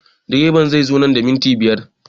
Direban zai zo nan da minti biyar